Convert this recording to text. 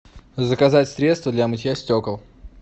заказать средство для мытья стекол